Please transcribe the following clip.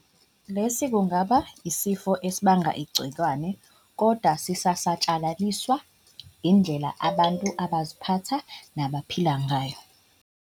Lesi kungaba yisifo esibangwa yigciwane, kodwa sisatshalaliswa yindlela abantu abaziphatha nabaphila ngayo.